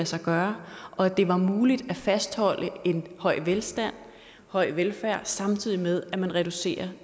sig gøre og at det er muligt at fastholde en høj velstand og høj velfærd samtidig med at man reducerer